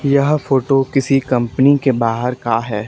यह फोटो किसी कंपनी के बाहर का है।